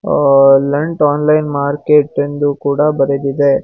ಅ- ಲೆಂಟ್ online market ಎಂದು ಕೂಡ ಬರೆದಿದೆ.